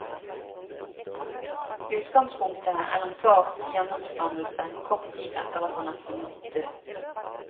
Utgangspunktet er en fars gjenoppstandelse kort tid etter at han er funnet død.